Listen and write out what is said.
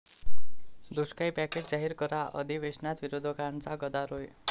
दुष्काळी पॅकेज जाहीर करा, अधिवेशनात विरोधकांचा गदारोळ